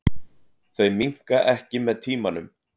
Þau minnka ekki með tímanum.